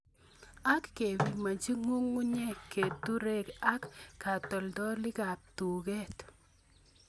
Ak kepimonji g'ung'unyek keturek ak katoltolikab tuket.